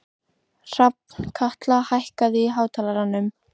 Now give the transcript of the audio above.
Hrafnkatla, hækkaðu í hátalaranum.